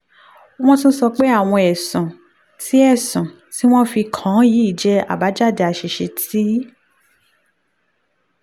wọ́n tún sọ pé àwọn ẹ̀sùn tí ẹ̀sùn tí wọ́n fi kàn án yìí jẹ́ àbájáde àṣìṣe tí